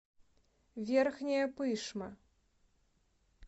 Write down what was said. верхняя пышма